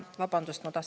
Vabandust!